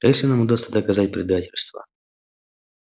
если нам удастся доказать предательство